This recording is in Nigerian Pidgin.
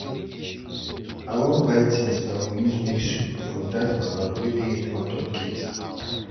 i wan go buy things i go use make soup from dat mama wey dey in front of gate.